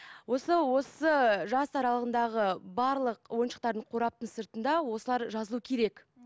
осы осы жас аралығындағы барлық ойыншықтардың қораптың сыртында осылар жазылу керек